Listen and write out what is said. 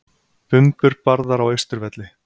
Bumbur barðar á Austurvelli